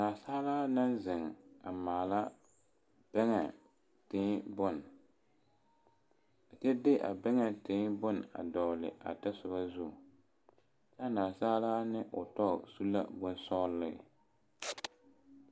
Naasaalaa naŋ zeŋ a maala bɛŋɛ tēē bone kyɛ de a bɛŋɛ tēē bone a dɔɡele a tasoba zu kyɛ a naasaalaa ne o tɔ su la bone sɔɡele.